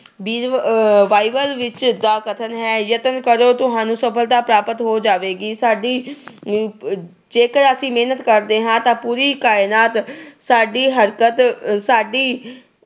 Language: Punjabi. ਵੀ ਅਹ Bible ਵਿੱਚ ਅਹ ਦਾ ਕਥਨ ਹੈ- ਯਤਨ ਕਰੋ, ਤੁਹਾਨੂੰ ਸਫਲਤਾ ਪ੍ਰਾਪਤ ਹੋ ਜਾਵੇਗੀ। ਸਾਡੀ ਆਹ ਜੇਕਰ ਅਸੀਂ ਮਿਹਨਤ ਕਰਦੇ ਹਾਂ ਤਾਂ ਪੂਰੀ ਕਾਇਨਾਤ ਸਾਡੀ ਹਰਕਤ ਅਹ ਸਾਡੀ